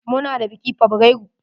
Muna da biki fabrairu.